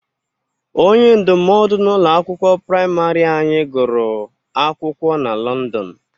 Onye ndụmọdụ n'ụlọ akwụkwọ prịmarị anyị gụrụ akwụkwọ na Lọndọn